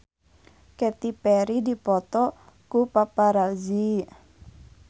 Katy Perry dipoto ku paparazi